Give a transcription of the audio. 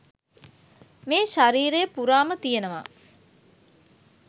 මේ ශරීරය පුරාම තියෙනවා